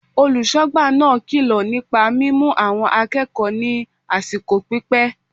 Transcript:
Olùsógbà náà kilo nípa mímu àwọn akéèkòó ní àsìkò pípé